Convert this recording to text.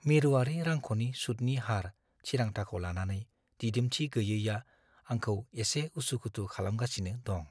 मिरुआरि रांख'नि सुतनि हार थिरांथाखौ लानानै दिदोमथि गैयैआ आंखौ एसे उसु-खुथु खालामगासिनो दं।